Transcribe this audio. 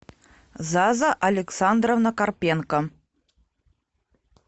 заза александровна карпенко